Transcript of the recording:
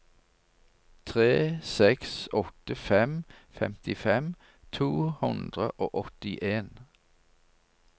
tre seks åtte fem femtifem to hundre og åttien